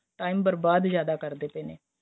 time ਬਰਬਾਦ ਜਿਆਦਾ ਕਰਦੇ ਪਏ ਨੇ